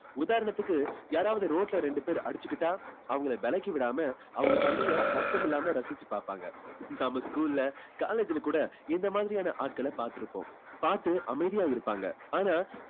உதாரணத்துக்கு யாராவது road ல ரெண்டு பேர் அடிச்சுக்கிட்டா அவங்களை விலக்கி விடாம அவங்க சண்டையை சத்தம் இல்லாம ரசிச்சு பாப்பாங்க. நம்ம school ல college ல கூட இந்த மாதிரியான ஆட்களை பாத்திருப்போம் பார்த்து அமைதியா இருப்பாங்க. ஆனா